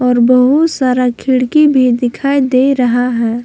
और बहुत सारा खिड़की भी दिखाई दे रहा है।